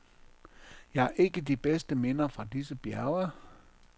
Jeg har ikke de bedste minder fra disse bjerge.